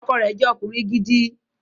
Ọkọ rẹ̀ jẹ́ ọkùnrin gidi